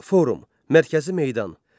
Forum, mərkəzi meydan.